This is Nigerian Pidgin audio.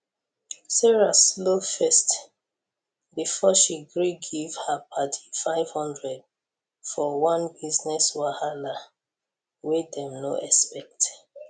sarah slow first before she gree give her padi 500 for one business wahala wey dem no expect